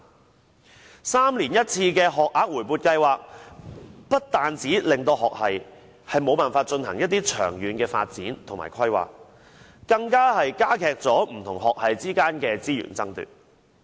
每3年1次的學額回撥計劃，不單令學系無法進行長遠發展和規劃，更加劇不同學系之間的資源爭奪。